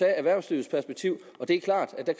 erhvervslivets perspektiv og det er klart at det